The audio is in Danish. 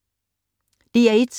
DR1